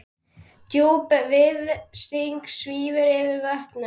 Djúp virðing svífur yfir vötnum.